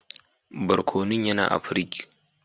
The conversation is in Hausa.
Barkonun yana a pirig.